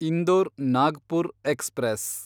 Indore Nagpur express